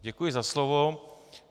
Děkuji za slovo.